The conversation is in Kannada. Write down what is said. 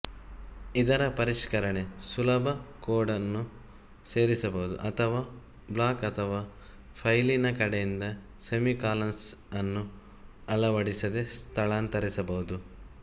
ಇದರ ಪರಿಷ್ಕರಣೆ ಸುಲಭ ಕೋಡನ್ನು ಸೇರಿಸಬಹುದು ಅಥವಾ ಬ್ಲಾಕ್ ಅಥವಾ ಫೈಲಿನ ಕಡೆಯಿಂದ ಸೆಮಿಕಾಲನ್ಸ್ ಅನ್ನು ಅಳವಡಿಸದೆ ಸ್ಥಳಾಂತರಿಸಬಹುದು